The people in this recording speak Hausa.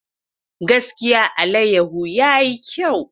Gaskiya! alayyahu yayi kyau.